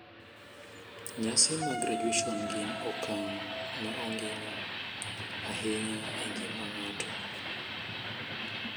Nyasi mag graduation gin okang` ma ongino ahinya e ngima ng`ato.